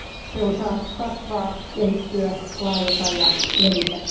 Se on saanut kasvaa, kehittyä, laajeta ja levitä.